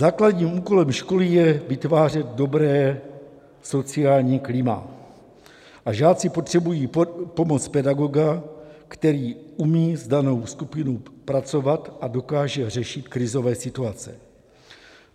Základním úkolem školy je vytvářet dobré sociální klima a žáci potřebují pomoc pedagoga, který umí s danou skupinou pracovat a dokáže řešit krizové situace.